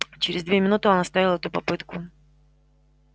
через две минуты он оставил эту попытку